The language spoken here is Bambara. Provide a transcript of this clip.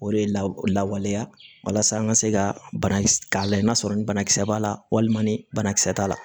O de la lawaleya walasa an ka se ka banakisɛ k'a la i n'a sɔrɔ ni banakisɛ b'a la walima ni banakisɛ t'a la